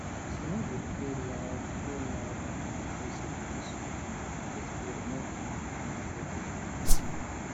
she no dey play loud play loud um music when she um dey spray make animal no fear run um